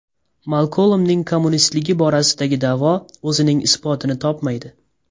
Malkolmning kommunistligi borasidagi da’vo o‘zining isbotini topmaydi.